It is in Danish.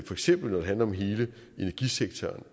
eksempel handler om hele energisektoren